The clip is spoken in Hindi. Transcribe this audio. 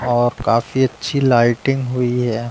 और काफी अच्छी लाइटिंग हुई है।